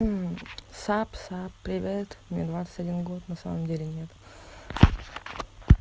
сапсап привет мне двадцать один год на самом деле нет